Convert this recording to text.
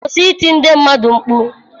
Kwụsị ịti ndị mmadụ mkpu.